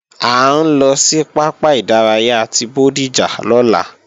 À ń lọ sí pápá ìdárayá ti Bódìjà lọ́la